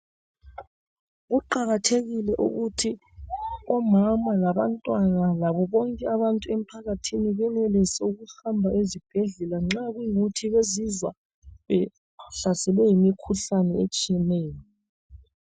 Kuqakathekile ukuthi omama labantwana labobonke abantu emphakathini benelise ukuhamba ezibhedlela nxa kuyikuthi bezizwa behlaselwe yimikhuhlane etshiyeneyo.